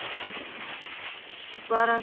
ਬਾਰ੍ਹਾਂ